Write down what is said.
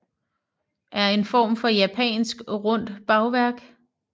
er en form for japansk rundt bagværk